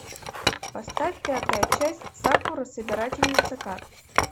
поставь пятая часть сакура собирательница карт